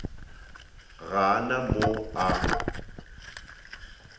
ga a na mo a